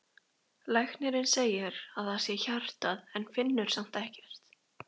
Læknirinn segir að það sé hjartað en finnur samt ekkert.